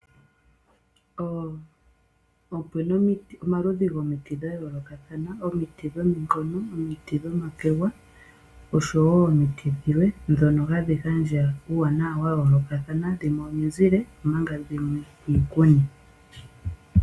Opu na omaludhi gomiti dha yoolokathana. Omiti dhominkono, omiti dhomakwega, oshowo omiti dhilwe ndhono hadhi gandja uuwanawa wa yoolokathana, dhimwe omizile omanga dhimwe iikuni.